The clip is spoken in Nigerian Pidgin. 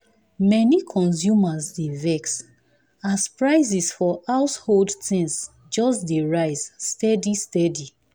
many consumers dey vex as prices for household things just dey rise steady steady.